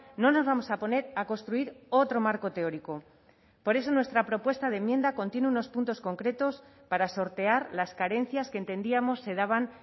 no nos vamos a poner a construir otro marco teórico por eso nuestra propuesta de enmienda contiene unos puntos concretos para sortear las carencias que entendíamos se daban